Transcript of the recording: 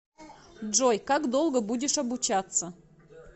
джой как долго будешь обучаться